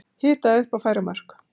Hita upp og færa mörk